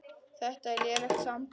Þetta er lélegt samband